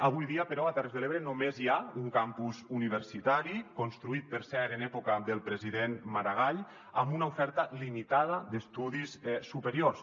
avui dia però a terres de l’ebre només hi ha un campus universitari construït per cert en època del president maragall amb una oferta limitada d’estudis superiors